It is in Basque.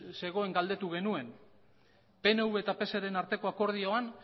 zegoen galdetu genuen pnv eta pseren arteko akordioan